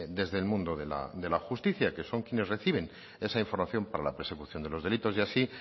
desde el mundo de la justicia que son quienes reciben esa información para la persecución de los delitos y así